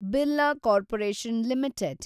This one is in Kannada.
Birla Corporation limited